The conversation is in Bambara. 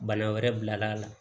Bana wɛrɛ bilal'a la